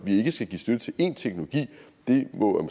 ikke skal give støtte til én teknologi det må